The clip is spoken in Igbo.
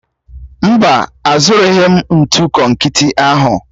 Mba, azụrụghị m ntụ konkịtị ahụ